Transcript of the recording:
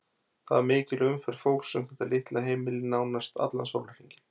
Það var mikil umferð fólks um þetta litla heimili nánast allan sólarhringinn.